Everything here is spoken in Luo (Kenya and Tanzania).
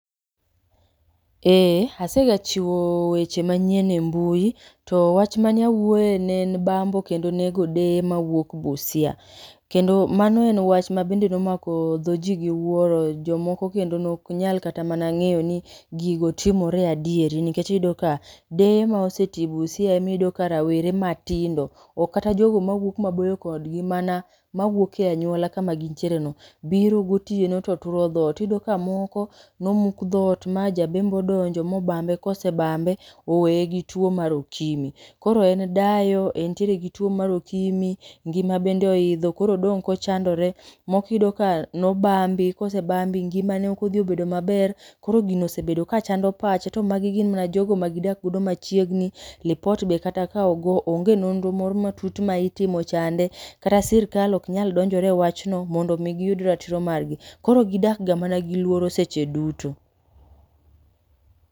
Ee asegachiwo weche manyien e mbui. To wach mane awuoe ne en bambo kendo nego deye mawuok Busia. Kendo mano en wach ma bende ne omako dho ji gi wuoro. Jomoko kendo ne ok nyal kata mana ngéyo ni gigo timore adieri. Nikech iyudo ka deye ma osetii buisa ema iyudo ka rowere matindo, ok kata jogo mawuok maboyo kodgi, mana mawuok e anyuola kama gintiere no, biro gotieno to turo dhoot. Iyudo ka moko no muk dhoot ma ja bembo odonjo, ma obambe, ka osebambe, owee gi two mar UKIMWI. Koro en dayo, en gi two mar UKIMWI, ngima bende oidho, koro odong' ka ochandore. Moko iyudo ka nobambi, ka osebambi, ngima ne ok odhi obedo maber. Koro gino osebedo ka chando pache. To magi gin mana jogo ma gidak godo machiegni. Lipot be kata ka ogo, onge nonro moro matut ma itimo chande. Kata sirkal ok nyal donjore e wachno, mondo omi giyud ratiro margi. Koro gidak ga mana gi luoro seche duto.